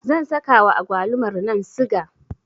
zan sakawa agwalumarnan siga